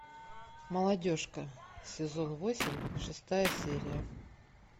молодежка сезон восемь шестая серия